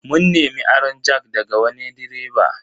Mun nemi aron jack daga wani direba.